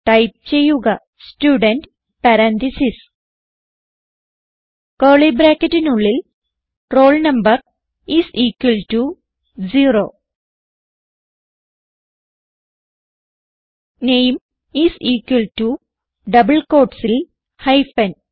type ചെയ്യുക student parentheses curly ബ്രാക്കറ്റിനുള്ളിൽ roll number is equal to 0 name is equal to double quotesൽ hyphen